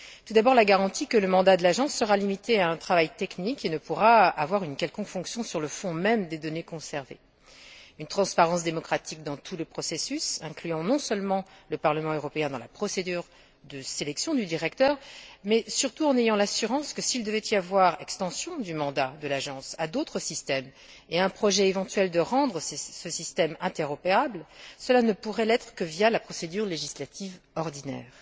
Tout d'abord, la garantie que le mandat de l'agence sera limité à un travail technique qui ne pourra exercer une quelconque influence sur le fond même des données conservées. Ensuite, une transparence démocratique dans tout le processus, incluant non seulement le Parlement européen dans la procédure de sélection du directeur, mais surtout donnant l'assurance que, s'il devait y avoir extension du mandat de l'agence à d'autres systèmes et une intention éventuelle de rendre ce système interopérable, cela ne pourrait se faire que via la procédure législative ordinaire.